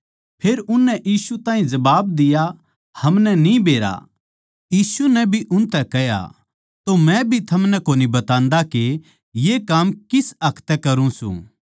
फेर उननै यीशु ताहीं जबाब दिया हमनै न्ही बेरा यीशु नै भी उनतै कह्या तो मै भी थमनै कोनी बतान्दा के ये काम किस हक तै करूँ सूं